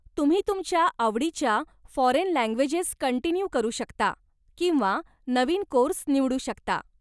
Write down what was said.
तुम्ही तुमच्या आवडीच्या फॉरेन लँग्वेजेस कंटिन्यू करू शकता किंवा नवीन कोर्स निवडू शकता.